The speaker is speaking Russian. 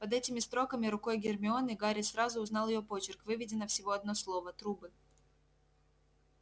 под этими строками рукой гермионы гарри сразу узнал её почерк выведено всего одно слово трубы